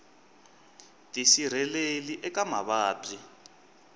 tisirheleli eka mavabyi